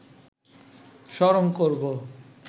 স্মরণ করব